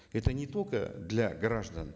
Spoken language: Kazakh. это не только для граждан